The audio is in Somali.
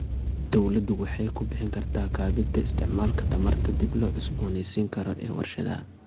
Dawladdu waxay ku bixin kartaa kabida isticmaalka tamarta dib loo cusboonaysiin karo ee warshadaha.